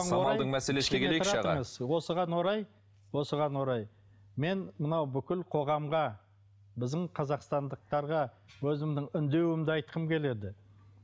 осыған орай осыған орай мен мынау бүкіл қоғамға біздің қазақстандықтарға өзімнің үндеуімді айтқым келеді